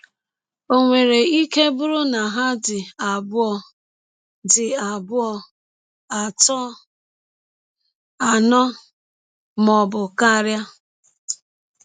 Ọ nwere ike bụrụ na ha dị abụọ, dị abụọ, atọ, anọ, ma ọ bụ karịa.